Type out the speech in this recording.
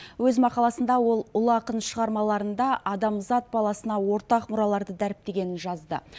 өз мақаласында ол ұлы ақын шығармаларында адамзат баласына ортақ мұраларды дәріптегенін жазды